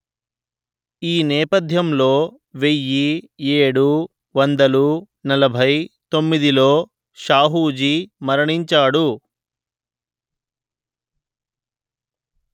ఈ నేపథ్యంలో వెయ్యి ఏడు వందలు నలభై తొమ్మిదిలో షాహూజీ మరణించాడు